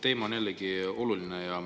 Teema on jällegi oluline.